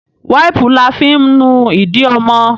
Wàipu la fi ń nu ídì ọmọ